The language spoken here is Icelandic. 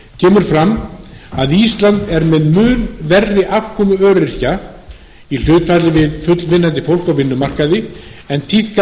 kemur fram að ísland er með mun verri afkomu öryrkja í hlutfalli við fullvinnandi fólk á vinnumarkaði en tíðkast á